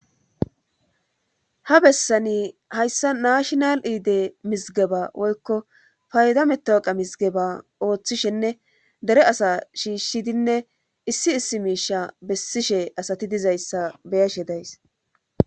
ha bessani hayssa naashnal iide mizgeba woykko faydavmetwoqa mizgeba ooththishenne dere asa shiishshidinne issi issi miisha bessishe asati dizayssa beyashe days